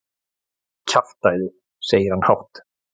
Kjaftæði, segir hann hátt.